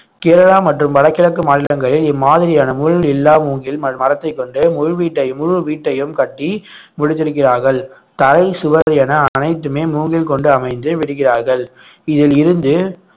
கேரளா மற்றும் வடகிழக்கு மாநிலங்களில் இம்மாதிரியான முள் இல்லா மூங்கில் மர~ மரத்தைக் கொண்டு முழு வீட்டை முழு வீட்டையும் கட்டி முடித்திருக்கிறார்கள் தரை சுவர் என அனைத்துமே மூங்கில் கொண்டு அமைந்து விடுகிறார்கள் இதிலிருந்து